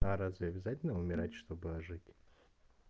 а разве обязательно умирать чтобы ожить